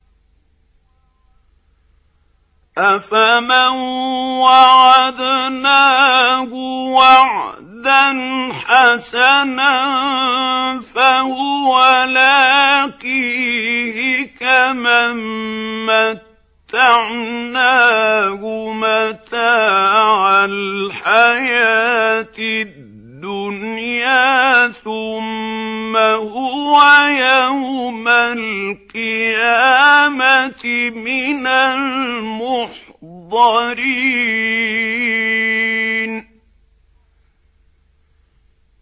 أَفَمَن وَعَدْنَاهُ وَعْدًا حَسَنًا فَهُوَ لَاقِيهِ كَمَن مَّتَّعْنَاهُ مَتَاعَ الْحَيَاةِ الدُّنْيَا ثُمَّ هُوَ يَوْمَ الْقِيَامَةِ مِنَ الْمُحْضَرِينَ